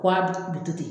Wa a bi bi to ten